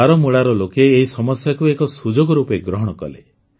ବାରାମୂଳାର ଲୋକେ ଏହି ସମସ୍ୟାକୁ ଏକ ସୁଯୋଗ ରୂପେ ଗ୍ରହଣ କଲେ